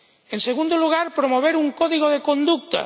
En segundo lugar, promover un código de conducta